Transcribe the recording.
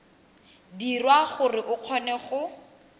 dirwa gore o kgone go